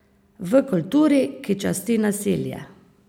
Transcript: V kulturi, ki časti nasilje.